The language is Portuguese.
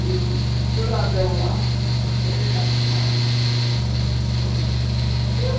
e peladão lá até arrumar as coisas.